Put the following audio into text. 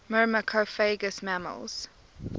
myrmecophagous mammals